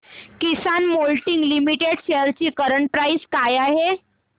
किसान moulding limited shares ची current price काय आहे